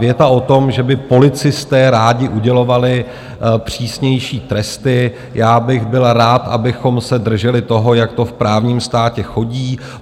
Věta o tom, že by policisté rádi udělovali přísnější tresty - já bych byl rád, abychom se drželi toho, jak to v právním státě chodí.